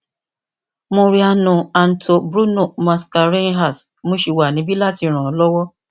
mariano anto bruno mascarenhas mo sì wà nibi lati ran ọ lọwọ